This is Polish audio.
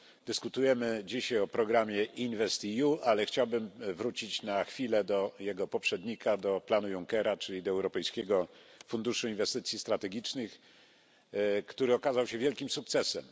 Dyskutujemy dzisiaj o programie InvestEU, ale chciałbym wrócić na chwilę do jego poprzednika do planu Junckera, czyli do Europejskiego Funduszu Inwestycji Strategicznych, który okazał się wielkim sukcesem.